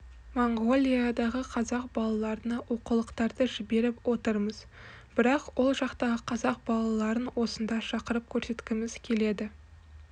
моңғолиядағы қазақ балаларына оқулықтарды жіберіп отырмыз бірақ ол жақтағы қазақ балаларын осында шақырып көрсеткіміз келеді